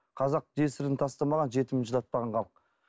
қазақ жесірін тастамаған жетімін жылатпаған халық